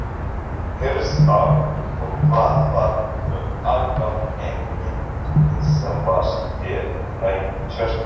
Hersir Aron: Og hvað varð um allan peninginn sem var hérna í tjörninni?